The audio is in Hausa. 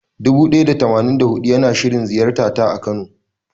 Dubu ɗaya da tamanin da huɗu yana shirin ziyartata a kano.